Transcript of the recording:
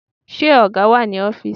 Ṣé ọ̀gá wà ní ọfísì?